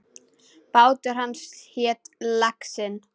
Bátur hans hét Laxinn.